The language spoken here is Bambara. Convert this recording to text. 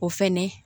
O fɛnɛ